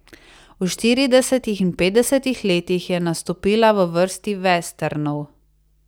V štiridesetih in petdesetih letih je nastopila v vrsti vesternov.